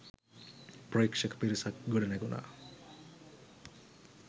ප්‍රේක්ෂක පිරිසක් ගොඩනැගුනා.